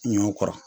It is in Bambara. Ɲɔ kɔrɔ